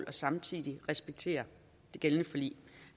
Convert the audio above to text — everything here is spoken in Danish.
og samtidig respektere det gældende forlig